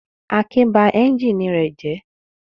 Akin ba ẹ́ńjínì rẹ̀ jẹ́.